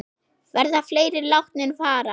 Verða fleiri látnir fara?